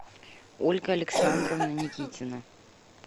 ольга александровна никитина